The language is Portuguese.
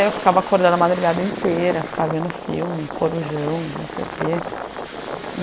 Eu ficava acordada a madrugada inteira, ficava vendo filme, Corujão, não sei o quê.